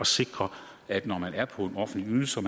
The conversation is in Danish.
sikre at når man er på en offentlig ydelse og